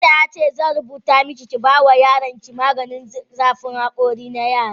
Likita ya ce zan rubuta maki, ki ba yaronki maganin rage zafin hakori na yara.